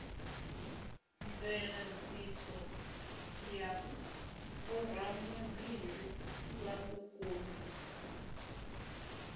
mveladziso ya vhoramabindu vhauku na